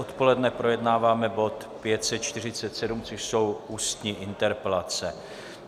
Odpoledne projednáváme bod 547, což jsou ústní interpelace.